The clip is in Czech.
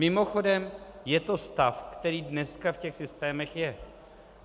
Mimochodem je to stav, který dneska v těch systémech je.